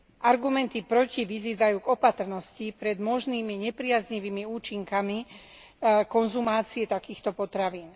Argumenty proti vyzývajú k opatrnosti pred možnými nepriaznivými účinkami konzumácie takýchto potravín.